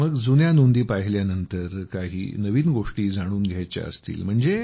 मग जुन्या नोंदी पाहिल्यानंतर काही नवीन गोष्टी जाणून घ्यायच्या असतील तर